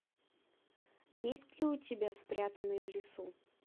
есть ли у тебя спрятанный в лесу